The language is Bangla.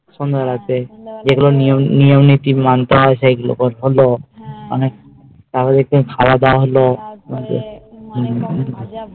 সন্ধে বেলা তে যেই নিয়ম নীতি মানতে হয় সেই গুলো করা হলো তার পরে খাওয়া দাওয়া হলো